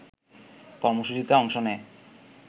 কর্মসূচিতে অংশ নেয়